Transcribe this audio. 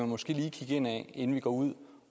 måske lige kigge indad inden vi går ud